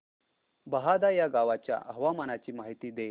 बहादा या गावाच्या हवामानाची माहिती दे